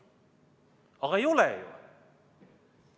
Aga ei ole ju.